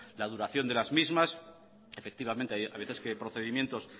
la duración de las mismas efectivamente a veces que procedimientos